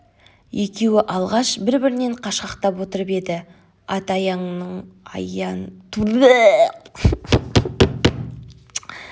екеуі алғаш бір-бірінен қашқақтап отырып еді ат аяңының ырғағы екшеп тым жақындастырып жіберді